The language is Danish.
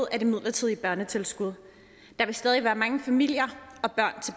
af det midlertidige børnetilskud der vil stadig være mange familier